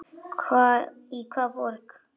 Í hvaða borg?